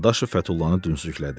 Dadaşov Fətullanı dümsüklədi.